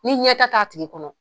Ni ɲɛtaa t'a tigi kɔnɔ